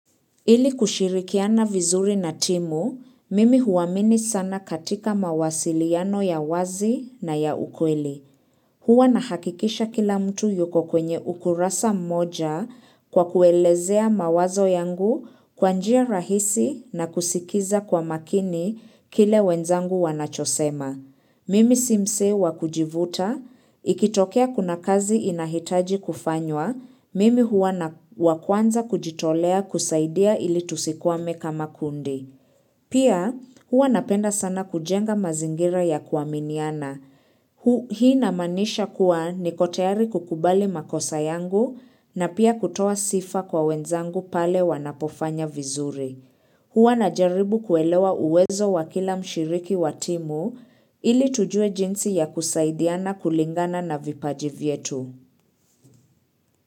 Ili kushirikiana vizuri na timu, mimi huamini sana katika mawasiliano ya wazi na ya ukweli. Huwa nahakikisha kila mtu yuko kwenye ukurasa mmoja kwa kuelezea mawazo yangu kwa njia rahisi na kusikiza kwa makini kile wenzangu wanachosema. Mimi si msee wa kujivuta, ikitokea kuna kazi inahitaji kufanywa, mimi hua wa kwanza kujitolea kusaidia ili tusikwame kama kundi. Pia hua napenda sana kujenga mazingira ya kuaminiana. Hii inamaanisha kuwa niko tayari kukubali makosa yangu na pia kutoa sifa kwa wenzangu pale wanapofanya vizuri. Hua najaribu kuelewa uwezo wa kila mshiriki wa timu ili tujue jinsi ya kusaidiana kulingana na vipaji vyetu.